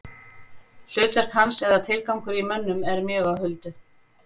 Hlutverk hans eða tilgangur í mönnum er mjög á huldu.